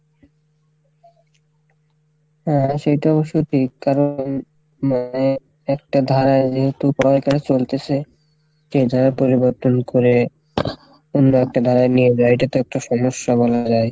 হ্যাঁ সেইটাও সঠিক কারণ মানে একটা ধারার যেহেতু উপরে তারা চলতেসে সে ধারা পরিবর্তন করে অন্য একটা ধারা এটা তো একটা সমস্যা বাংলায়,